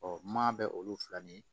maa bɛ olu fila ni